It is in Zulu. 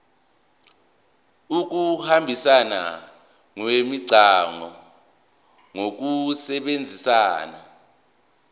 ukuhambisana kwemicabango ngokusebenzisa